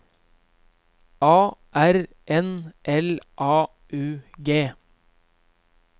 A R N L A U G